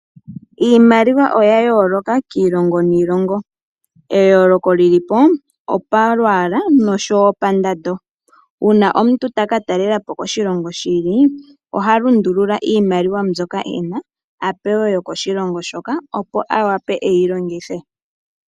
Iimaliwa oya yoloka kiilongo niilongo. Eyoloko li lipo opalwala noshowo pandando una omuntu taka talelapo koshilongo shi ili oha lundulula iimaliwa mbyono ena avuke oku pewe yokoshilongo hoka opo awape eyi longithe.